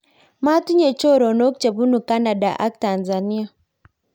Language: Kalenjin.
matinye choronok che bunu kanada ak Tanzania